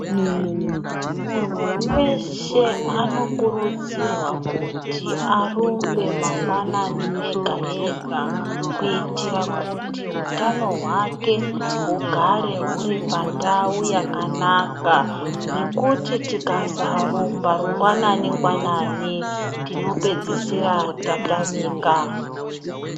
Munhu weshe anokurudzirwa kuti arumbe mangwanani ega-ega kuitira kuti hutano hwake hugare huri pandau yakanaka. Nekuti tisakarumba rungwanani-ngwanani tinopedzisira tatamika.